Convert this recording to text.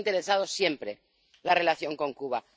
Nos ha interesado siempre la relación con Cuba.